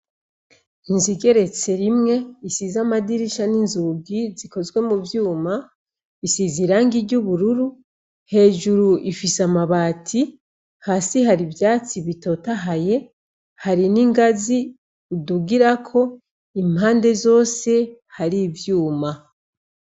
Inzu igeretse rimwe isize amadirisha n'inzugi zikozwe m'uvyuma isize irangi ry'ubururu, hejuru ifise amabat,i hasi hari ivyatsi bitotahaye, hari n'ingazi udugirako impande zose hari ivyuma.